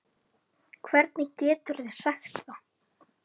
Hvernig geturðu sagt það?